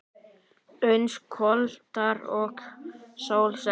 Uns kvöldar og sól sest.